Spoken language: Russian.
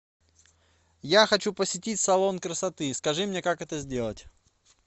я хочу посетить салон красоты скажи мне как это сделать